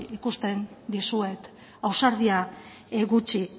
ikusten dizuet ausardia gutxi